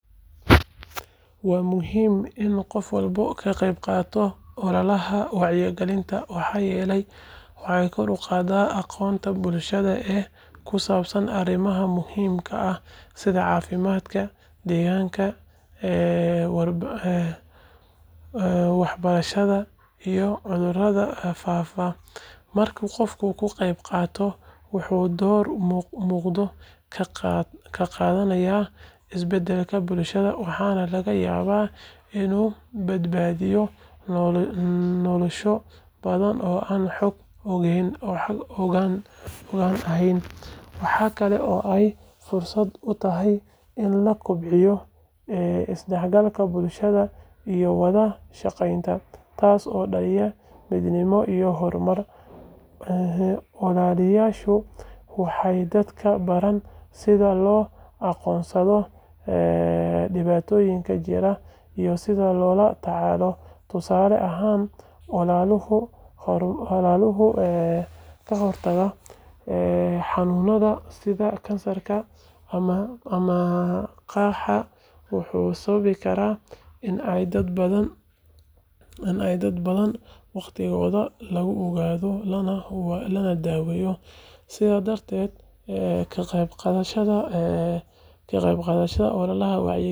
Waa muhiim in qof walba ka qayb qaato ololaha wacyigelinta maxaa yeelay waxay kor u qaadaa aqoonta bulshada ee ku saabsan arrimaha muhiimka ah sida caafimaadka, deegaanka, waxbarashada iyo cudurrada faafa. Marka qofku ka qayb qaato, wuxuu door muuqda ka qaadanayaa isbeddelka bulshada waxaana laga yaabaa inuu badbaadiyo nolosho badan oo aan xog ogaal ahayn. Waxa kale oo ay fursad u tahay in la kobciyo isdhexgalka bulshada iyo wada shaqeynta, taas oo dhaliya midnimo iyo horumar. Ololayaashu waxay dadka baraan sida loo aqoonsado dhibaatooyinka jira iyo sida loola tacaalo. Tusaale ahaan, ololaha kahortagga xanuunnada sida kansarka ama qaaxada wuxuu sababi karaa in dad badan waqtigooda lagu ogaado lana daaweeyo. Sidaas darteed, ka qayb qaadashada ololaha wacyigelinta.